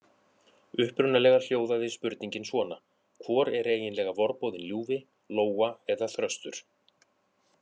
Upprunalega hljóðaði spurningin svona: Hvor er eiginlega vorboðinn ljúfi: Lóa eða þröstur?